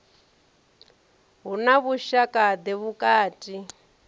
hu na vhushaka ḓe vhukati